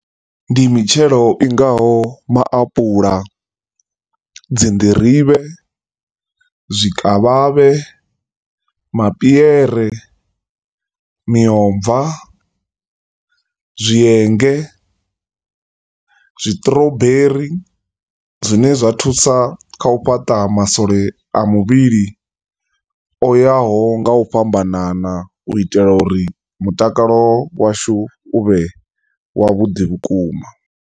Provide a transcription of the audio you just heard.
Ndi mitshelo i ngaho maapuḽa, dzinḓirivhe, zwikavhavhe, mapiere, miomva, zwienge, zwi sṱrouberi, zwine zwa thusa kha u fhata masole a muvhili o ya ho nga u fhambanana u itela u ri mutakalo washu u vhe wavhuḓi vhukuma.